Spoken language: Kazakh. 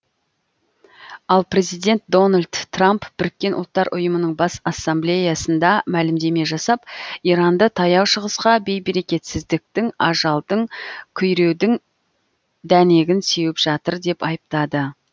ал президент дональд трамп біріккен ұлттар ұйымының бас ассамблеясында мәлімдеме жасап иранды таяу шығысқа бей берекетсіздіктің ажалдың күйреудің дәнегін сеуіп жатыр деп айтады